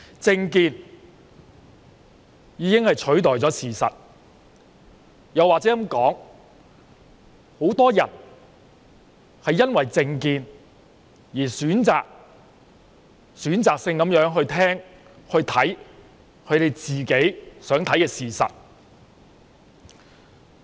政見已經取代了事實，又或者應該說，很多人因為政見而選擇性地聆聽和觀看自己想看到的事實。